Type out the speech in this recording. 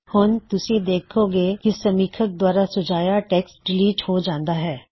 ਹੁਣ ਤੁਸੀਂ ਦੇਖੋਂਗੇ ਕੀ ਸਮੀਥਕ ਦੁਆਰਾ ਸੁਝਾਇਆ ਟੈੱਕਸਟ ਡਿਲਿਟ ਹੋ ਜਾਂਦਾ ਹੇ